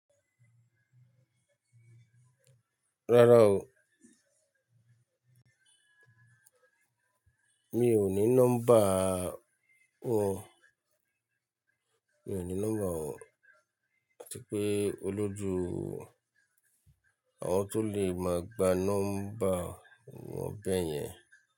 Rárá o. Mi ò ní nọ́mbà ọ̀, mi ò ní nọ́mbà ọ̀ àti pé olójú àwọn tó lè máa gba nọ́mbà wọ̀n bẹ yẹn.